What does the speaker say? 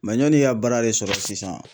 yanni i ka baara de sɔrɔ sisan.